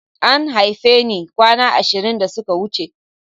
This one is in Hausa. An haife ni kwana ashirin da suka wuce.